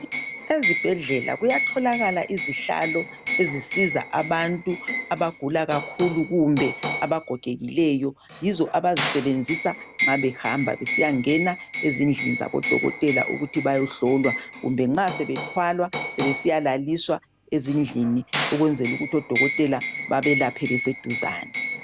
Ezibhedlela kuyatholakala izihlalo ezisiza abantu abagula kakhulu kumbe abagogekileyo yizo abazisebenzisa nxa behamba besiyangena ezindlini zabodokotela ukuthi bayehlola kumbe nxa sebethalwa sebesiya laliswa ezindlini ukwenzela ukuthi odokotela bebalaphe beseduzane.